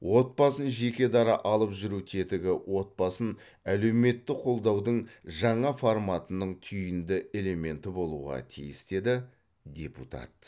отбасын жекедара алып жүру тетігі отбасын әлеуметтік қолдаудың жаңа форматының түйінді элементі болуға тиіс деді депутат